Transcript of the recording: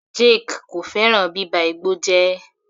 Jake kò fẹ́ràn bíba igbó jẹ́.